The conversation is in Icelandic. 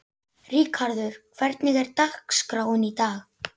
Ríkharður, hvernig er dagskráin í dag?